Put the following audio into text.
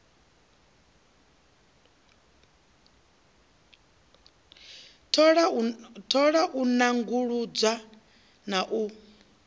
thola u nanguludza na u